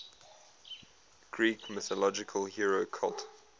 greek mythological hero cult